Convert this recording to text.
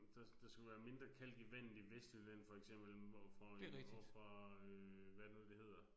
Der der skulle være mindre kalk i vandet i Vestjylland for eksempel overfor overfor øh hvad er det nu det hedder